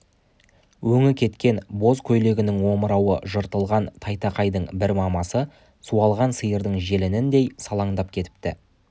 өңі кеткен боз көйлегінің омырауы жыртылған тайтақайдың бір мамасы суалған сиырдың желініндей салаңдап кетіпті